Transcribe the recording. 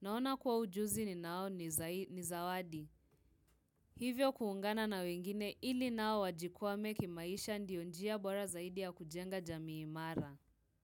Naona kuwa ujuzi ninao ni zawadi. Hivyo kuungana na wengine ili nao wajikwame kimaisha ndio njia bora zaidi ya kujenga jamii imara.